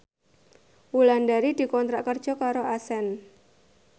Wulandari dikontrak kerja karo Accent